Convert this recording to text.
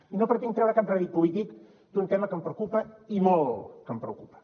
i no pretenc treure cap rèdit polític d’un tema que em preocupa i molt que em preocupa